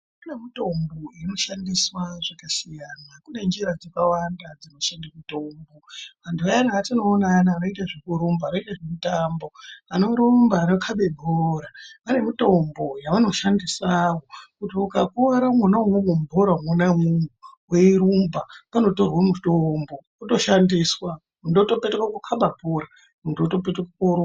Kune mitombo inoshandiswa zvakasiyana kune njira dzakawanda dzinoshande mitombo, vantu vayana vatinoona vanoita zvekurumba vanoita zvemitambo vanorumba vanokabe bhora, vane mitombo yavanoshandisawo kuti ukakuwara mwona imwomwo mubhoramwo weirumba panotorwe mutombo wotoshandiswa muntu otopetuke kokaba bhora muntu otopetuke korumba.